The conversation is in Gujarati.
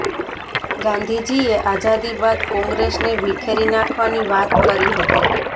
ગાંધીજીએ આઝાદી બાદ કોંગ્રેસને વિખેરી નાખવાની વાત કરી હતી